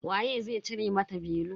Waye zai cire mata belu.